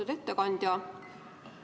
Lugupeetud ettekandja!